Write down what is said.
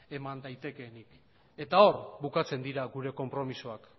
eman daitekeenik eta